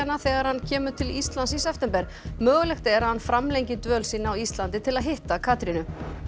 þegar hann kemur til Íslands í september mögulegt er að hann framlengi dvöl sína á Íslandi til að hitta Katrínu